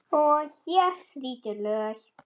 Og hér þrýtur lög.